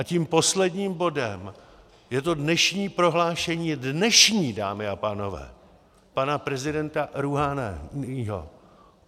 A tím posledním bodem je to dnešní prohlášení, dnešní, dámy a pánové, pana prezidenta Rúháního.